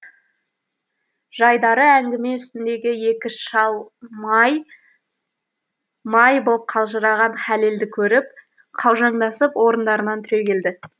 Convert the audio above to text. жайдары әңгіме үстіндегі екі шал май май боп қалжыраған хәлелді көріп қаужаңдасып орындарынан түрегелді